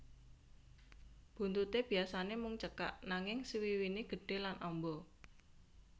Buntuté biyasané mung cekak nanging swiwiné gedhe lan amba